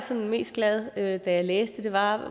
mest glad da jeg læste det var